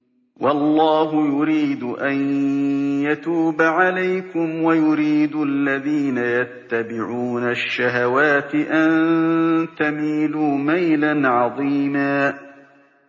وَاللَّهُ يُرِيدُ أَن يَتُوبَ عَلَيْكُمْ وَيُرِيدُ الَّذِينَ يَتَّبِعُونَ الشَّهَوَاتِ أَن تَمِيلُوا مَيْلًا عَظِيمًا